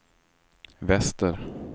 väster